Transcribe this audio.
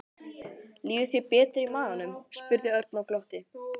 Líður þér betur í maganum? spurði Örn og glotti.